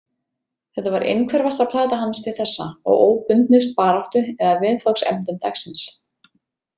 Þetta var innhverfasta plata hans til þessa og óbundnust baráttu eða viðfangsefnum dagsins.